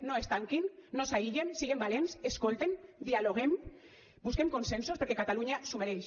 no es tanquin no s’aïllen siguen valents escolten dialoguem busquem consensos perquè catalunya s’ho mereix